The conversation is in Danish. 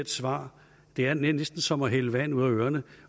svar det er næsten som at hælde vand ud af ørerne